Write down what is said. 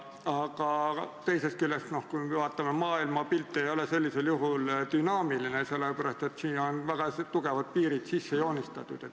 Aga teisest küljest, me vaatame, et maailmapilt ei ole sellisel juhul dünaamiline, sest siia on väga tugevad piirid sisse joonistatud.